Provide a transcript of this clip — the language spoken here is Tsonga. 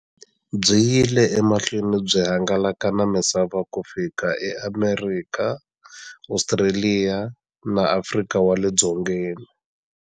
Byi yile emahlweni byi hangalaka na misava ku fika eAmerika, Ostraliya na Afrika wale dzongeni.